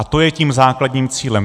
A to je tím základním cílem.